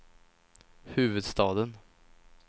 huvudstaden